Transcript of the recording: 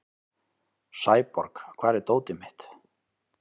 Fregnin um þennan auðfengna gróða barst um gervöll Norðurlönd líkt og eldur í sinu.